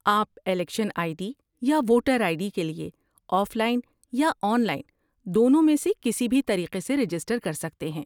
آپ election I D یا voter I D کے لیے آف لائن یا آن لائن دونوں میں سے کسی بھی طریقے سے رجسٹر کر سکتے ہیں۔